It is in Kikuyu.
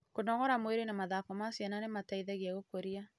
Kũnogora mwĩrĩ na mathako ma ciana nĩ gũteithagia gũkũria